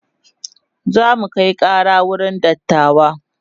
zamu Kai Kara wurin dattawa